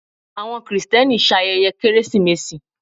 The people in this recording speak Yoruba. awọn kristeni ṣayẹye keresimesi